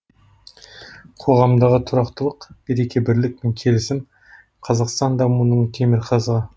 қоғамдағы тұрақтылық береке бірлік пен келісім қазақстан дамуының темірқазығы